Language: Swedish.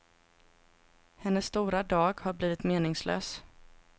Hennes stora dag har blivit meningslös.